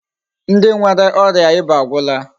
Ndi nwere oria iba agwula.